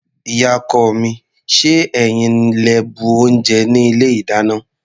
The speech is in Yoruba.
Ìyá-ọkọ mi, ṣé ẹ̀yin lẹ bu oúnjẹ ní ilé-ìdáná?